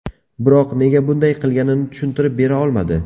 Biroq nega bunday qilganini tushuntirib bera olmadi.